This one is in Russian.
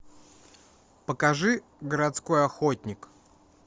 покажи городской охотник